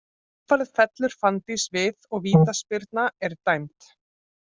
Í kjölfarið fellur Fanndís við og vítaspyrna er dæmd.